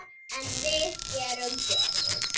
En við gerum betur.